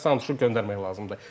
Santuşu göndərmək lazımdır.